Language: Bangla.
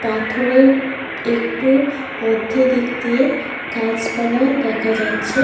পাথরের একটু মধ্যে দিক দিয়ে গাছ পালা দেখা যাচ্ছে।